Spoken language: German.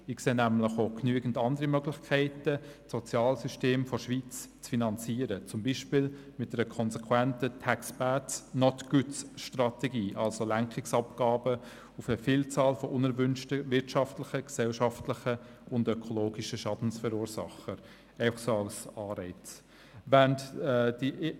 Ich sehe nämlich auch genügend andere Möglichkeiten, das Sozialsystem der Schweiz zu finanzieren, beispielsweise mit einer konsequenten «Tax Bads, not Goods»-Strategie, also Lenkungsabgaben auf eine Vielzahl unerwünschter wirtschaftlicher, gesellschaftlicher und ökologischer Schadensverursacher – einfach so als Anreiz.